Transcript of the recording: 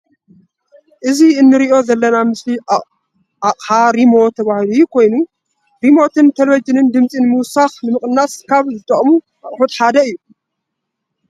እዚ እንርእዮ ዘለና ምስሊ ኣቅሓ ሪሞት ዝባሃል ኮይኑ ። ሪሞት ን ቴሌቭዥን ድምፂ ንምውሳክን ንምቀናስን ካብ ዝጠቅመና ኣቅሑት ሓደ እዩ።